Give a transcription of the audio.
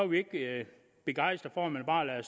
vi ikke begejstret for at man bare lader